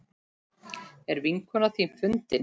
Er vinkona þín fundin?